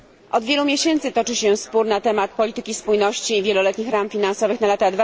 Od wielu miesięcy toczy się spór na temat polityki spójności i wieloletnich ram finansowych na lata